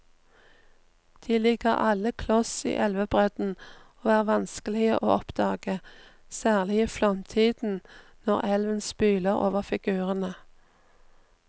De ligger alle kloss i elvebredden og er vanskelige å oppdage, særlig i flomtiden når elven spyler over figurene.